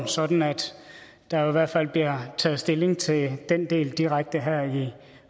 sådan at der i hvert fald bliver taget stilling til den del direkte her i